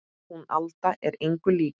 Hún Alda er engu lík